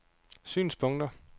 synspunkter